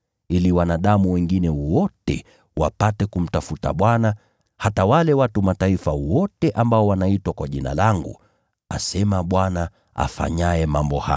ili wanadamu wengine wote wapate kumtafuta Bwana, hata wale watu wa Mataifa wote ambao wanaitwa kwa Jina langu, asema Bwana, afanyaye mambo haya’